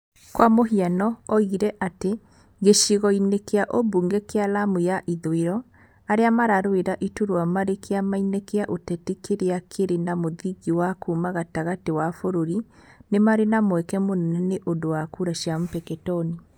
Kwa mũhiano, oigire atĩ, gĩcigo-inĩ kĩa ũmbunge kĩa Lamu ya ithũĩro, arĩa mararũĩra iturwa marĩ kĩama-inĩ kĩa ũteti kĩrĩa kĩrĩ na mũthingi wa kuuma gatagatĩ wa bũrũri, nĩ marĩ na mweke mũnene nĩ ũndũ wa kura cia Mpeketoni.